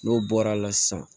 N'o bɔra la sisan